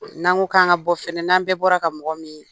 N'an ko k'an ŋa bɔ fɛnɛ, n'an bɛɛ bɔra ka mɔgɔ min